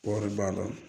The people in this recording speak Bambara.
Kɔri b'a la